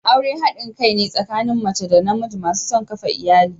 Aure hadin kai ne tsakanin mace da namiji masu son kafa iyali.